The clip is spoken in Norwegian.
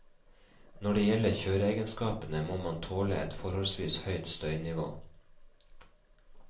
Når det gjelder kjøreegenskapene, må man tåle et forholdsvis høyt støynivå.